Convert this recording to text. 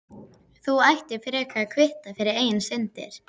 Þú ættir frekar að kvitta fyrir eigin syndir.